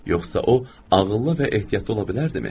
Yoxsa o ağıllı və ehtiyatlı ola bilərdimi?